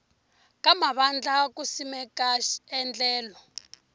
ka mavandla ku simeka endlelo